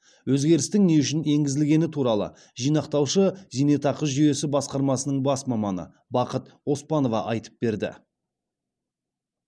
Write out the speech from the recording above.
өзгерістің не үшін енгізілгені туралы жинақтаушы зейнетақы жүйесі басқармасының бас маманы бақыт оспанова айтып берді